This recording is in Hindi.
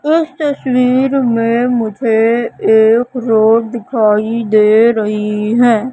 उस तस्वीर में मुझे एक रोड दिखाई दे रही है।